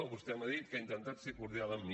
vostè m’ha dit que ha intentat ser cordial amb mi